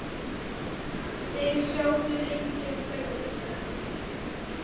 Þeir sátu lengi og þögðu.